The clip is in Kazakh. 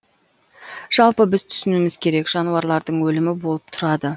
жалпы біз түсінуіміз керек жануарлардың өлімі болып тұрады